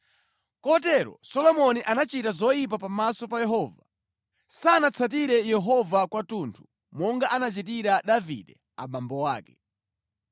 Kotero Solomoni anachita zoyipa pamaso pa Yehova. Sanatsatire Yehova kwathunthu monga anachitira Davide abambo ake.